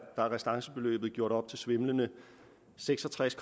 restancebeløbet gjort op til svimlende seks og tres